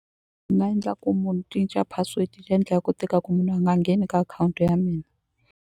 endla ku munhu cinca password leyi ndlaku ku tika ku munhu a nga ngheni ka akhawunti ya mina.